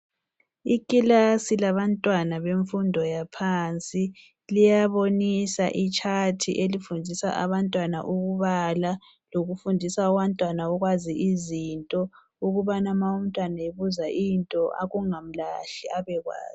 Ikilasi labantwana bemfundo yaphansi liyabonisa itshaymthi elifundisa abantwana ukubala lokufundisa abantwana ukwazi izinto ukubana ma umntwana ebuzwa izinto kungamlahli abekwazi.